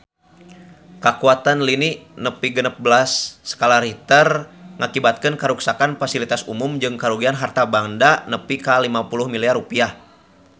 Kakuatan lini nu nepi genep belas skala Richter ngakibatkeun karuksakan pasilitas umum jeung karugian harta banda nepi ka 50 miliar rupiah